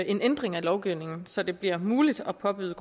en ændring af lovgivningen så det bliver muligt at påbyde